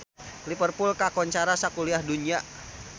Liverpool kakoncara sakuliah dunya